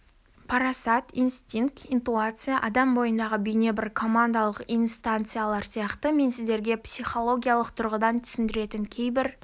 парасат инстинкт интуиция адам бойындағы бейне бір командалық инстанциялар сияқты мен сіздерге психологиялық тұрғыдан түсіндірілетін кейбір